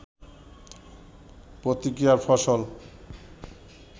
প্রতিক্রিয়ার ফসল